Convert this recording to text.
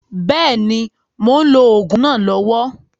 Bẹ́ẹ̀ni, mò ń lò òògùn náà lọ́wọ́